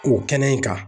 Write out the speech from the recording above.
O kɛnɛ in kan